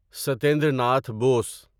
Satyendra Nath Bose